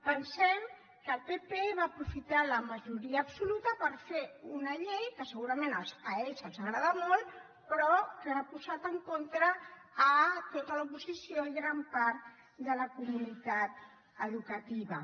pensem que el pp va aprofitar la majoria absoluta per fer una llei que segurament a ells els agrada molt però que hi ha posat en contra tota l’oposició i gran part de la comunitat educativa